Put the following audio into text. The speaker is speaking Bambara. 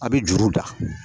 A bɛ juru da